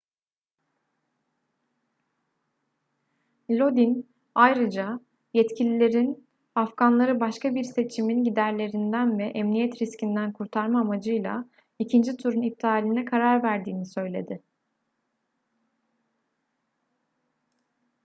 lodin ayrıca yetkililerin afganları başka bir seçimin giderlerinden ve emniyet riskinden kurtarma amacıyla ikinci turun iptaline karar verdiğini söyledi